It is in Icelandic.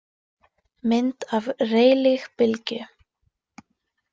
Mynd af Rayleigh-bylgju.